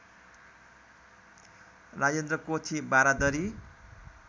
Rajendra Kothi Baradari